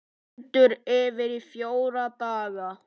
Stendur yfir í fjóra daga.